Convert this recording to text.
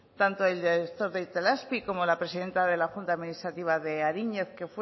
tanto desde de itelazpi como la presidenta de la junta administrativa de ariñez que